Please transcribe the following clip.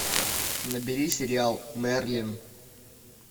набери сериал мерлин